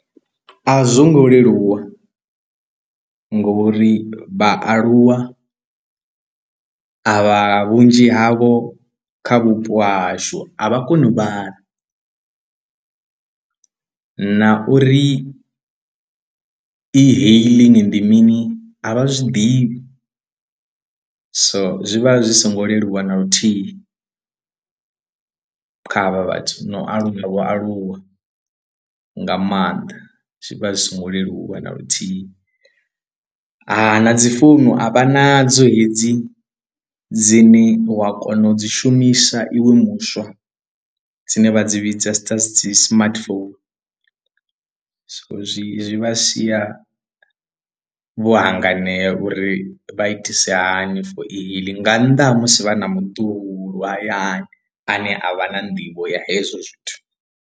A zwo ngo leluwa ngori vhaaluwa a vha vhunzhi havho kha vhupo ha hashu a vha koni u vhala na uri e-hailing ndi mini a vha zwiḓivhi so zwi vha zwi songo leluwa na luthihi kha havha vhathu na u aluwa vho aluwa nga maanḓa zwi vha zwi songo leluwa na luthihi, ha na dzi founu a vha na dzo hedzi dzine wa kona u dzi shumisa iwe muswa dzine vha dzi vhidza sA dzi smartphone so zwi zwi vha sia vho hanganea uri vha itise hani for e-hailing nga nnḓa ha musi vha na muṱuku hayani ane a vha na nḓivho ya hezwo zwithu.